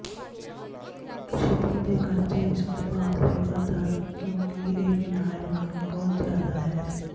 shipping ਦੇ ਖਰਚੇ ਇਸ ਉਤਪਾਦ ਲਈ ਵੱਧ ਹਨ ਕਿਉਂਕਿ ਇਹ ਵਿਨਾਇਲ ਨਾਲੋਂ ਬਹੁਤ ਜ਼ਿਆਦਾ ਹੈ